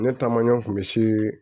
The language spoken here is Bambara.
Ne taamaɲa kun bɛ se